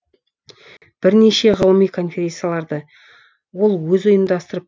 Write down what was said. бірнеше ғылыми конференцияларды ол өзі ұйымдастырып